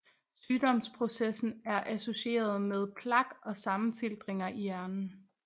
Sygdomsprocessen er associeret med plak og sammenfiltringer i hjernen